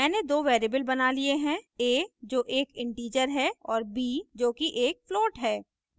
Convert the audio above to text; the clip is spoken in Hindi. मैंने दो variables बना लिए हैं a जो एक integer है और b जो कि एक float है